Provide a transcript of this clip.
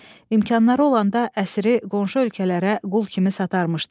İmkanları olanda əsiri qonşu ölkələrə qul kimi satarmışdılar.